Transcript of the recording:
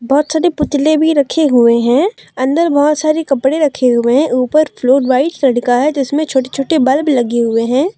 बहुत सारे पुतले भी रखे हुए हैं अंदर बहुत सारे कपड़े रखे हुए हैं ऊपर फ्लोर का है जिसमें छोटे छोटे बल्ब लगे हुए है।